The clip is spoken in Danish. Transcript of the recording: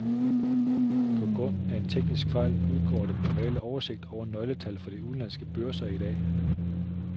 På grund af en teknisk fejl udgår den normale oversigt over nøgletal fra de udenlandske børser i dag.